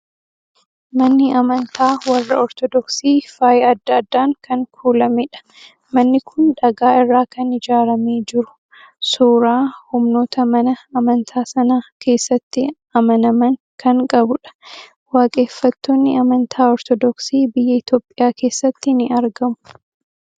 Manni amantaa warra Ortoodoksii faaya adda addaan kan kuulamedha. Manni kun dhagaa irraa kan ijaaramee jiru, suuraa humnoota mana amantaa sana keessatti amanaman kan qabudha. Waaqeffattoonni amantaa Ortoodoksii biyya Itoophiyaa keessatti ni argamu.